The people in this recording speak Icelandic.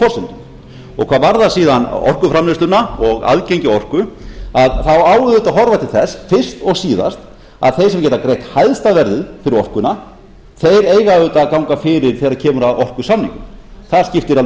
forsendum hvað varðar síðan orkuframleiðsluna og aðgengi að orku þá á auðvitað að horfa til þess fyrst og síðast að þeir sem geta greitt hæsta verðið fyrir orkuna eiga auðvitað að ganga fyrir þegar kemur að orkusamningum það skiptir alveg